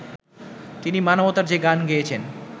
তিনি মানবতার যে গান গেয়েছেন